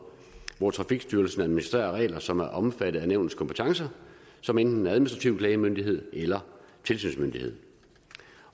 hvor trafikstyrelsen administrerer regler som er omfattet af nævnets kompetencer som enten administrativ klagemyndighed eller tilsynsmyndighed